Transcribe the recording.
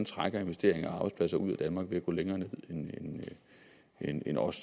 trækker investeringer og arbejdspladser ud af danmark ved at gå længere ned end os